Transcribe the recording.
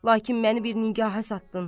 Lakin məni bir nigahə satdın.